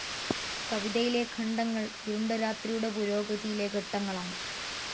കവിതയിലെ ഖണ്ഡങ്ങൾ ഇരുണ്ട രാത്രിയുടെ പുരോഗതിയിലെ ഘട്ടങ്ങളാണ്.